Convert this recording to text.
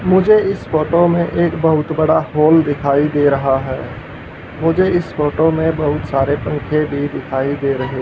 मुझे इस फोटो में एक बहुत बड़ा हॉल दिखाई दे रहा है मुझे इस फोटो में बहुत सारे पंखे भी दिखाई दे रहे--